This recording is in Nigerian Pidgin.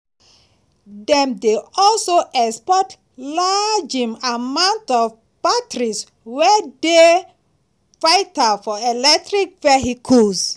dem dey also export large um amount of batteries wey dey vital for electric vehicles.